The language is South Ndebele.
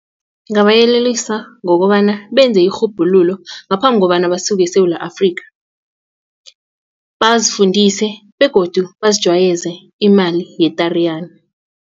Ngingabayelelisa ngokobana benze irhubhululo ngaphambi kobana basuke eSewula Afrika bazifundise begodu bazijwayeze imali ye-Tariyana.